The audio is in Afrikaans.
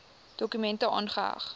dokument aangeheg